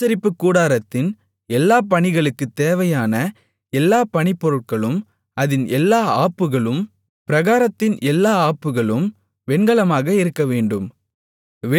ஆசரிப்பு கூடாரத்தின் எல்லா பணிகளுக்குத் தேவையான எல்லா பணிப்பொருட்களும் அதின் எல்லா ஆப்புகளும் பிராகாரத்தின் எல்லா ஆப்புகளும் வெண்கலமாக இருக்கவேண்டும்